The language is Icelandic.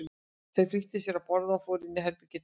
Þeir flýttu sér að borða og fóru inn í herbergi Tóta.